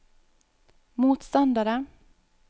motstandere